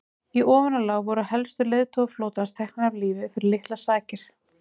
í ofanálag voru helstu leiðtogar flotans teknir af lífi fyrir litlar sakir